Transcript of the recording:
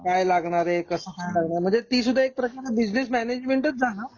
काय लागणार आहे? कसं करणार आहे? म्हणजे ती सुद्धा एक बिजनेस मैनेजमेंट झालं.